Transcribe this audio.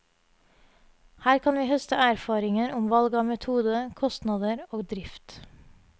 Her kan vi høste erfaringer om valg av metode, kostnader og drift.